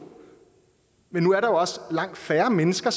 men nu er også langt færre mennesker